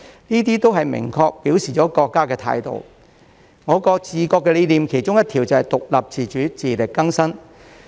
這些都明確表明了國家的態度，我國的治國理念其中一條是獨立自主，自力更生。